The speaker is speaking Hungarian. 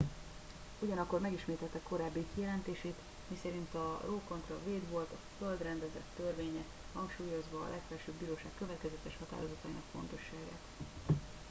"ugyanakkor megismételte korábbi kijelentését miszerint a roe kontra wade volt a "föld rendezett törvénye" hangsúlyozva a legfelsőbb bíróság következetes határozatainak fontosságát.